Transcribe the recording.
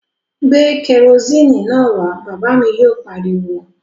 Gbé kerosini náà wá! Bàbá mi yóò pariwo